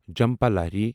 Jhumpa Lahiri